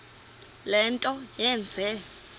le nto yenze